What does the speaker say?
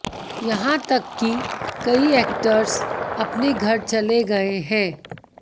यहां तक की कई एक्टर्स अपने घर चले गए हैं